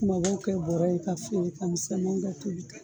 Kumabaw kɛ bɔrɛ ye k'a feere, ka misɛnmanw kɛ tobi ta ye